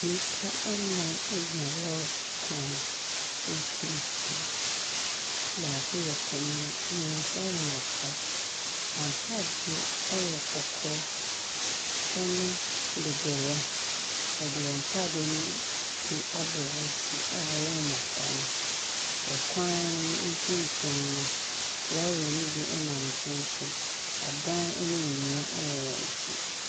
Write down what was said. Nnipa nnan gyina lɔɔre kwan mfimfini, baako yɛ panin, mmiɛnsa yɛ mmɔfra. Wɔn ataadeɛ no yɛ kɔkɔɔ ne dodoeɛ, wɔde wɔn ntaadeɛ ne bi abɔ wɔn ti a ɛyɛ mmɔfra no, ɔkwan no mfimfin no, lɔɔre ne bi nenam nkyɛnkyɛn. Adan ne nnua wɔ wɔn akyi.